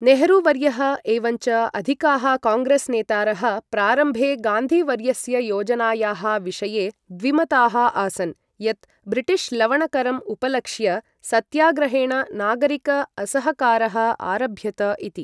नेहरू वर्यः एवञ्च अधिकाः काङ्ग्रेस् नेतारः प्रारम्भे गान्धी वर्यस्य योजनायाः विषये द्विमताः आसन्, यत् ब्रिटिश् लवण करम् उपलक्ष्य सत्याग्रहेण नागरिक असहकारः आरभ्यत इति।